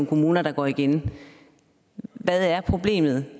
kommuner der går igen hvad er problemet